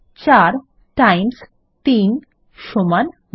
৪ times ৩ সমান ১২